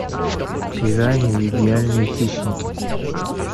пираньи идеальные хищники